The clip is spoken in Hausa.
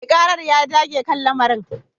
Mai karar ya dage kan lamarin